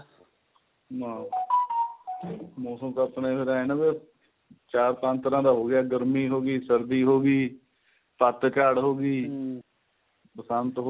ਨਾ ਮੋਸਮ ਤਾਂ ਆਥਣੇ ਜੇ ਰਹਿਣ ਦੇ ਚਾਰ ਪੰਜ ਤਰ੍ਹਾਂ ਦਾ ਹੋ ਗਿਆ ਗਰਮੀ ਹੋ ਗਈ ਸਰਦੀ ਹੋ ਗਈ ਪੱਤਚੜ ਹੋ ਗਈ ਬਸੰਤ ਹੋ